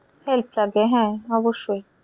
Help লাগে হ্যাঁ অবশ্যই।